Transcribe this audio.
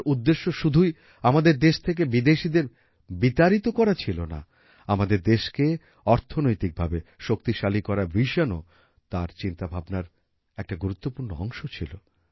তাঁর উদ্দেশ্য শুধুই আমাদের দেশ থেকে বিদেশীদের বিতাড়িত করা ছিল না আমাদের দেশকে অর্থনৈতিকভাবে শক্তিশালী করার Visionও তার চিন্তাভাবনার একটা গুরুত্বপূর্ণ অংশ ছিল